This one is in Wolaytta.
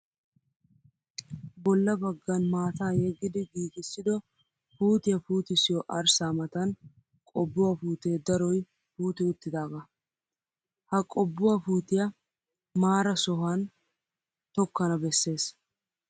Bolla baggan maataa yeggidi giigissido puutiya puutissiyoo arssaa matan qobbuwaa puutee daroyi puuti uttidaaga. Ha qobbuwaa puutiyaa maara sohan tokkana besses.